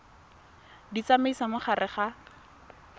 di tsamaisa mo gare ga